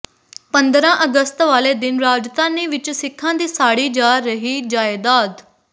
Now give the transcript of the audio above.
ਪੰਦਰਾਂ ਅਗਸਤ ਵਾਲੇ ਦਿਨ ਰਾਜਧਾਨੀ ਵਿਚ ਸਿੱਖਾਂ ਦੀ ਸਾੜੀ ਜਾ ਰਹੀ ਜਾਇਦਾਦ